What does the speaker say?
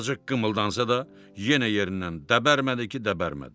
Azacıq qımıldansa da, yenə yerindən dəbərmədi ki, dəbərmədi.